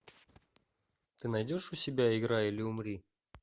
ты найдешь у себя играй или умри